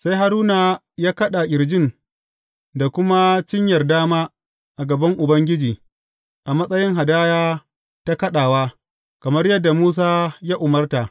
Sai Haruna ya kaɗa ƙirjin da kuma cinyar dama a gaban Ubangiji a matsayin hadaya ta kaɗawa, kamar yadda Musa ya umarta.